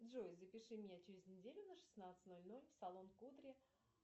джой запиши меня через неделю на шестнадцать ноль ноль в салон кудри